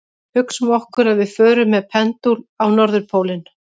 Hugsum okkur að við förum með pendúl á norðurpólinn.